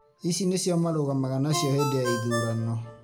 Ici nĩcio marũgamaga nacio hĩndĩ ya ithurano